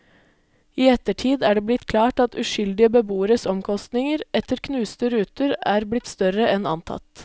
I ettertid er det blitt klart at uskyldige beboeres omkostninger etter knuste ruter er blitt større enn antatt.